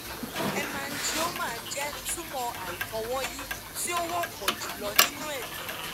hemangioma jẹ tumọ aifọwọyi ti o wọpọ julọ ninu ẹdọ